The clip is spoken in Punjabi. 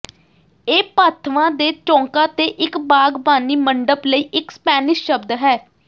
ਇਹ ਪਾਥਵਾਂ ਦੇ ਚੌਂਕਾਂ ਤੇ ਇਕ ਬਾਗ਼ਬਾਨੀ ਮੰਡਪ ਲਈ ਇਕ ਸਪੈਨਿਸ਼ ਸ਼ਬਦ ਹੈ